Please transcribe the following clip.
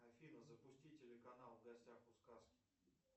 афина запусти телеканал в гостях у сказки